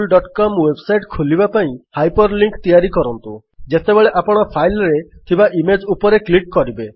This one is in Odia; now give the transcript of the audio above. wwwgooglecom ୱେବସାଇଟ୍ ଖୋଲିବା ପାଇଁ ହାଇପର୍ ଲିଙ୍କ୍ ତିଆରି କରନ୍ତୁ ଯେତେବେଳେ ଆପଣ ଫାଇଲ୍ ରେ ଥିବା ଇମେଜ୍ ଉପରେ କ୍ଲିକ୍ କରିବେ